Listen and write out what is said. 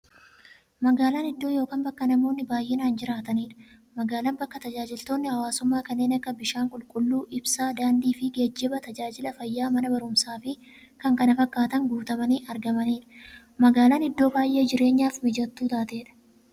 Magaalan iddoo yookiin bakka namoonni baay'inaan jiraataniidha. Magaalan bakka taajajilootni hawwaasummaa kanneen akka; bishaan qulqulluu, ibsaa, daandiifi geejjiba, taajajila fayyaa, Mana baruumsaafi kanneen kana fakkatan guutamanii argamaniidha. Magaalan iddoo baay'ee jireenyaf mijattuu taateedha.